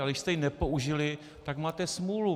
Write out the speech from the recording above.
Ale když jste ji nepoužili, tak máte smůlu.